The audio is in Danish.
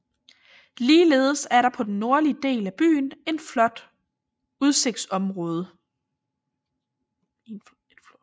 Ligeledes er der på den nordlige del af byen en flot udsigtsområde